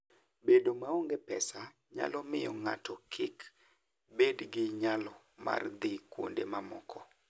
Bedo maonge pesa nyalo miyo ng'ato kik bed gi nyalo mar dhi kuonde mamoko.